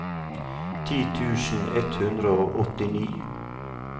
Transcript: ti tusen ett hundre og åttini